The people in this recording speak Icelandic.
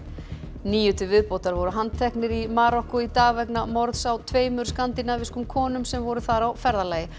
níu til viðbótar voru handteknir í Marokkó í dag í vegna morðs á tveimur skandinavískum konum sem voru þar á ferðalagi